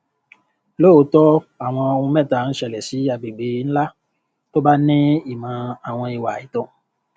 lóòótọ awọn ohun mẹta ń ṣẹlẹ sí agbègbè ńlá tó bá ní ìmò àwọn ìwà àìtó